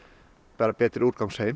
bara betri